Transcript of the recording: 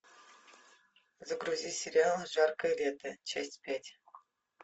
загрузи сериал жаркое лето часть пять